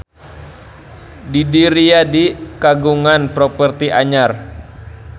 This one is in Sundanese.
Didi Riyadi kagungan properti anyar